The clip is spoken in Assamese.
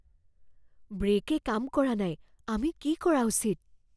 ব্ৰে'কে কাম কৰা নাই। আমি কি কৰা উচিত?